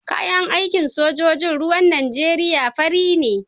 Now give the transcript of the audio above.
Kayan aikin sojojin ruwan Nijeriya fari ne.